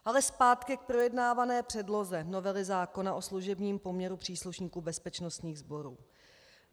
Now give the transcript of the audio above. Ale zpátky k projednávané předloze novely zákona o služebním poměru příslušníků bezpečnostních sborů.